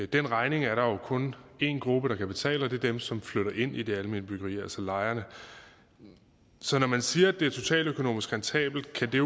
den regning er der jo kun én gruppe der kan betale og det er dem som flytter ind i det almene byggeri altså lejerne så når man siger at det er totaløkonomisk rentabelt kan det